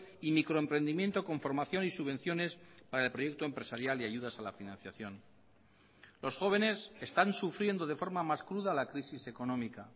y microemprendimiento con formación y subvenciones para el proyecto empresarial y ayudas a la financiación los jóvenes están sufriendo de forma más cruda la crisis económica